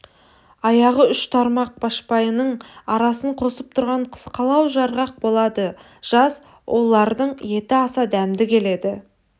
аяғы үш тармақ башпайының арасын қосып тұрған қысқалау жарғақ болады жас оулардың еті аса дәмді келеді